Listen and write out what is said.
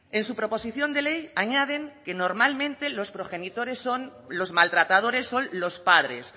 en su proposición de ley añaden que normalmente los maltratadores son los padres